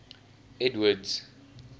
edward's